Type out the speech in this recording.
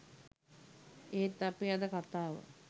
එහෙත් අපේ අද කතාව